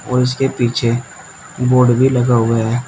और उसके पीछे बोर्ड भी लगा हुआहै।